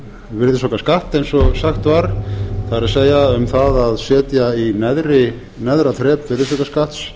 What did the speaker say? virðisaukaskatt eins og sagt var það er um að að setja í neðra þrep virðisaukaskatts